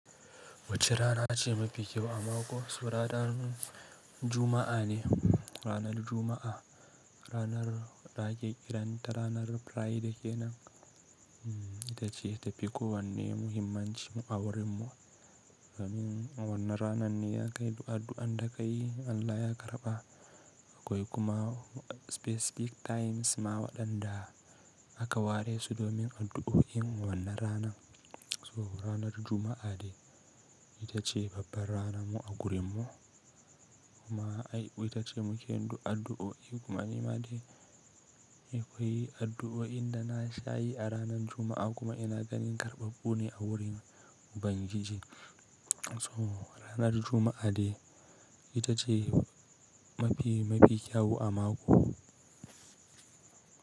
Wacce rana ce mafi kyau a mako? Su ranar Juma'a ne. Ranar Juma'a, ranar da ake kiranta ranar Friday kenan, ita ce ta fi ko wanne muhimmanci a wurinmu domin. Wannan ranar ne aka yi addu’an da kai Allah ya karɓa, akwai kuma specific times ma waɗanda aka ware su domin addu’o’in wannan rana. So ranar Juma’a ce ita ce babbar rana mu a gurinmu. Kuma ai ita ce muke yin addu'o'i kuma ni ma dai na yi addu'o'i inda na sha yi a ranar Juma'a kuma ina ganin karɓaɓɓu ne a wurin ubagiji. To ranar Juma'a ce ita ce mafi, mafi kyau a mako.